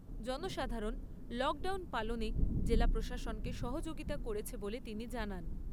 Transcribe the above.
জনসাধারণ লকডাউন পালনে জেলা প্রশাসনকে সহযোগিতা করছে বলে তিনি জানান।